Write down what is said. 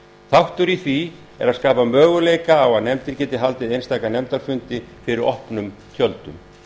þáttur í því er að skapa möguleika á að nefndir geti haldið einstaka nefndarfundi fyrir opnum tjöldum